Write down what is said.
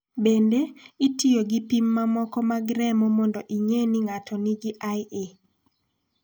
Bende, itiyo gi pim mamoko mag remo mondo ing�e ni ng�ato nigi IE.